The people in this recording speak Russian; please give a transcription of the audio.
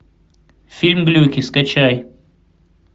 фильм глюки скачай